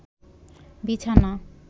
বিছানা